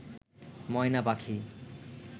ময়না পাখি